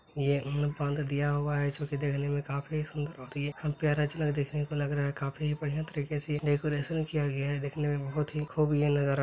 यह दिया हुआ है जो की देखने में काफी सुन्दर और यह देखने को लग रहा है| काफी बढ़ियां तरीके से यह डेकोरेशन किया गया है| देखने में बहुत ही खूब यह नज़ारा--